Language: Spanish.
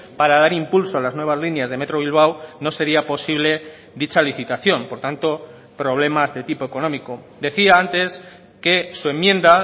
para dar impulso a las nuevas líneas de metro bilbao no sería posible dicha licitación por tanto problemas de tipo económico decía antes que su enmienda